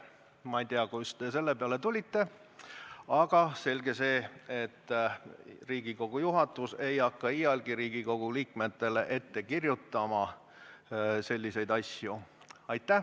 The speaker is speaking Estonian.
Ma ei tea, kust te selle peale tulite, aga selge see, et Riigikogu juhatus ei hakka iialgi Riigikogu liikmetele ette kirjutama selliseid asju.